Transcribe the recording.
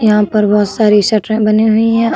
यहाँ पर बहुत सारी सटरे बनी हुई हैं।